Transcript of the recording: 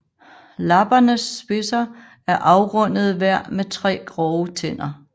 Lappernes spidser er afrundede hver med tre grove tænder